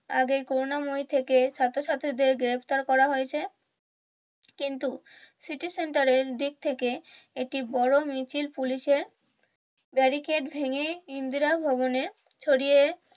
আগেই করুণাময়ীর থেকে সাথে সাথে গ্রেফতার করা হয়েছে কিন্তু সিটি সেন্টারের দিক থেকে একটি বড় মিছিল পুলিশের গাড়িকে ভেঙ্গে ইন্দিরা ভবনের ছড়িয়ে